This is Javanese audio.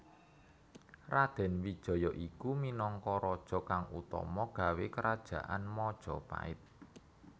Raden Wijaya iku minangka Raja kang utama gawé Kerajaan Majapahit